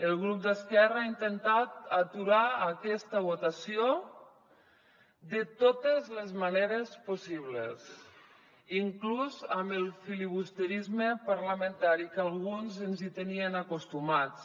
el grup d’esquerra ha intentat aturar aquesta votació de totes les maneres possibles inclús amb el filibusterisme parlamentari que alguns ens hi tenien acostumats